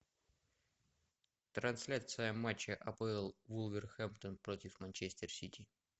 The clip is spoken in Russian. трансляция матча апл вулверхэмптон против манчестер сити